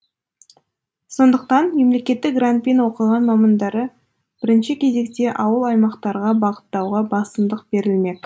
сондықтан мемлекеттік грантпен оқыған мамандары бірінші кезекте ауыл аймақтарға бағыттауға басымдық берілмек